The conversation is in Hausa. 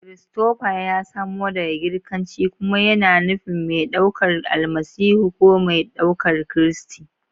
Christopher ya samo daga Girkanci kuma yana nufin "mai ɗaukar Almasihu" ko "mai ɗaukar Kristi."